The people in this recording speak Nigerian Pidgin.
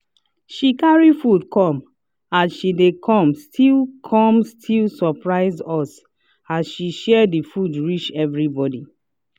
she carry food come as she dey come still come still surpise us as she share the food reach everybody.